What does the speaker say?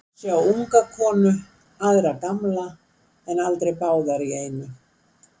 Sumir sjá unga konu, aðrir gamla, en aldrei báðar í einu.